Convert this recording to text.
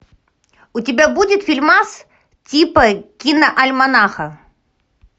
у тебя будет фильмас типа киноальманаха